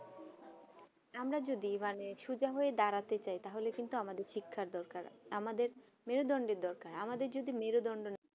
আমরা যদি মানে সোয়া হয়ে দাঁড়াতে চাই তাহলে কিন্তু আমাদের শিক্ষা দরকার আমাদের মেরুদণ্ড দরকার আমাদের যদি মেরুদণ্ড